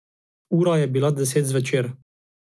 Ura je bila deset zvečer.